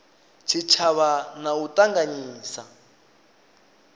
tshitshavha na u a ṱanganyisa